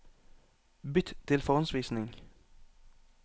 Bytt til forhåndsvisning